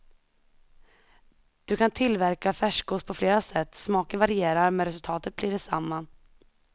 Du kan tillverka färskost på flera sätt, smaken varierar men resultatet blir det samma.